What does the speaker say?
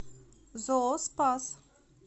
зооспас